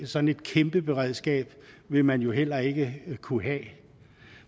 sådan et kæmpe beredskab vil man jo heller ikke kunne have